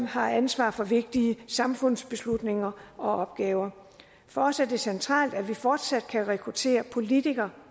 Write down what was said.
har ansvaret for vigtige samfundsbeslutninger og opgaver for os er det centralt at vi fortsat kan rekruttere politikere